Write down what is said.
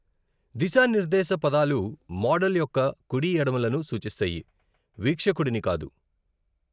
దిశా నిర్దేశ పదాలు మోడల్ యొక్క కుడి, ఎడమలను సూచిస్తాయి, వీక్షకుడివి కాదు.